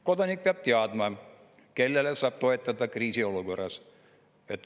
Kodanik peab teadma, kellele saab toetuda kriisiolukorras.